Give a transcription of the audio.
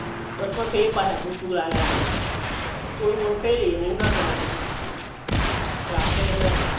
બસ માં ખાઈએ પાછા ભૂખ બૂખ લાગે રાતે તો થોડું ઘણું ખાઈ લઈએ બૌ ના ખવાય પછી રાતે એટલે